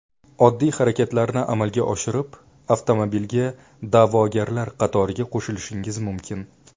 Oddiy harakatni amalga oshirib, avtomobilga da’vogarlar qatoriga qo‘shilishingiz mumkin!